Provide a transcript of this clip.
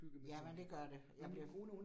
Jamen det gør det, jamen det